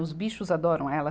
Os bichos adoram ela.